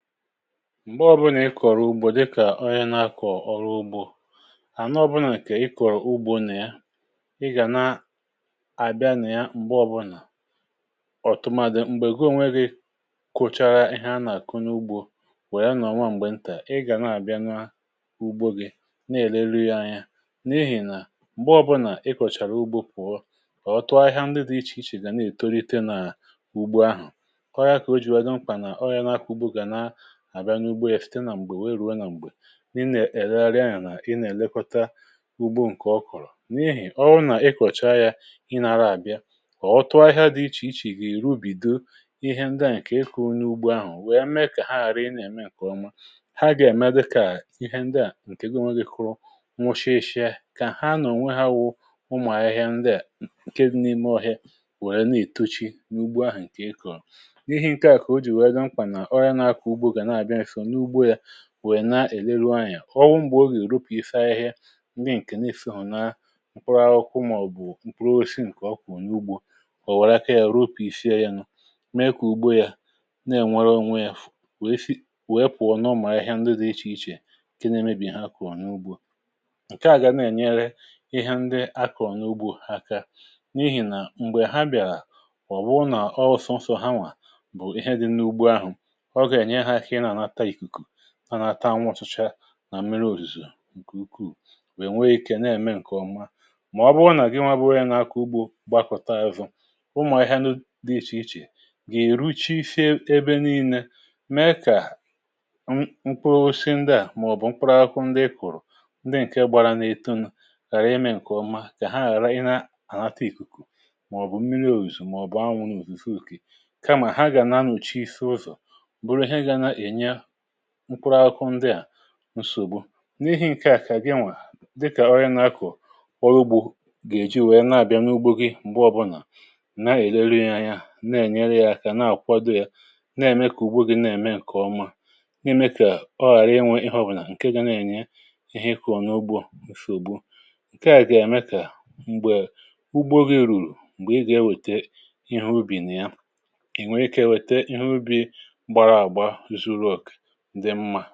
Mgbe ọbụnà ị kọ̀rọ̀ ugbȯ dịkà ọyá na-akọ̀ ọrụ ugbȯ, hà na ọbụnà kà ị kọ̀rọ̀ ugbȯ nà yà ị gà na àbịa nà ya m̀gbe ọbụnà, ọ̀tụtụ màdị̀ m̀gbè goo nweghi̇ kụchara ihe a nà-àkụnyụ ugbȯ wè ya nà ònwe m̀gbè ntà, ị gà na-àbịa nwa ugbȯ gị na-èle rihe anya, n’ihì nà m̀gbe ọbụnà ị kọ̀chàrà ugbȯ pụ̀ọ, ọ̀tụ ahịhịa ndị dị̇ ichè ichè gà na-ètorite nà ugbo ahụ̀. ọyȧ kà o jìwà gị mkpà nà àbịa n’ugbo èfute nà m̀gbè wee rùo nà m̀gbè n’inè èregarị ahị̀ nà ị nà-èlekọta ugbo ǹkè ọ kụ̀rụ̀, n’ihì ọwụ nà ị kọ̀chaa ya ị nȧrȧ àbịa, kà ọ tụọ ahịa dị ichè ichè ì ruo bìdo ịhe ndịa ǹkè ịkụ̀ n’ugbo ahụ̀ wèe mee kà ha àrị ị nà-ème ǹkè ọma, ha gà èmde kà ịhe ndịa ǹkè goo nwegì kụụ nwụshị eshị ha, kà ha nọ̀ ònwe ha wụ̇ ụmụ̀ ahịhịa ndịà ǹke n’ime ọhịa wèe na-ètochi n’ugbo ahụ̀ ǹkè ịkọ̀. N’ihi ǹke à kà o jì wèe dị mkpa na ọnye na akọ ụgbọ gana abịa nsọ na ụgbọ ya, gȧmkwà nà wèe na-èleru anya ọ wụ̇ m̀gbè ogè ò rụpìsịa ahịhịa ndị ǹkè na-esò na mkpụrụ akwụkwụ, mà ọ̀ bụ̀ m̀kpụrụ osisi ǹkè ọ kụ̀ụ n’ugbȯ, ò wèrè aka yȧ rụpìsịa yȧ nụ mee kà ùgbo yȧ na-ènwere ònwe yȧ wèe fị̀a wèe pụ̀ọ nọrọ mà ahịhịa ndị dị̇ ichè ichè ǹke na-emebì ha kụ̀ọ n’ugbo. Nke àgà na-ènyere ihe ndị akọ̀ n’ugbȯ aka n’ihì nà m̀gbè ha bịàrà ọ̀ bụ nà ọọ̀ sọ̀nsọ̀ hanwà bụ̀ ihe dị̇ n’ugbo ahụ̀, ọga enye ha aka ịna anata ịkụkụ, anata anwụtụcha, nà mmiri òzùzò ǹkè ukwuù wèe nwee ikė na-ème ǹkè ọma. màọbụ ọ nà-àgịnwa bụrụ ihe nȧ-ȧkwụ ugbȯ gbakọta ahụzụ ụmụ̀ ahịhịa dị ichè ichè gà-èruchị ebe nii̇nė mee kà m kụọ si ndi à, màọ̀bụ̀ mkpụrụ akụ ndị i kùrù, ndị ǹke gbara n’etu nụ̇ ghàra imė ǹkè ọma kà ha ghàra ihe ànatụ ìkùkù, màọ̀bụ̀ mmiri òzùzò, màọ̀bụ̀ anwụ̇, n’òzùfi ùkì. Ka ma ha ga na anọchịsị ụzọ, bụrụ ịhe ga na enye mkụrụ akwụ ndịà nsọgbụ. n’ìhì ǹkè àkà ginnwè dịkà ọrịa n’akụ̀ ọrụ ugbȯ gà-èji nwèe na-àbịa n’ugbo gị̇ m̀gbè ọbụlà na-èleruȧ ya na-ènyere yȧ akȧ na-àkwado yȧ, na-ème kà ùgbo gi̇ na-ème ǹkè ọma, n’ime kà ọ ghàra inwė ihe ọbụlà ǹkè gȧ na-ènye ihe ikȧọ̀ n’ugbȯ ǹsìùgbu. ǹkè à gà-ème kà m̀gbè ugbo gị̇ rùrù m̀gbè ịgà ewète ihe ubì nà ya ǹdé mmȧ.